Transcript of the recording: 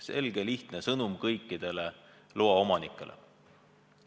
Selge lihtne sõnum kõikidele loaomanikele.